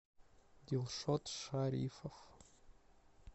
дилшот шарифов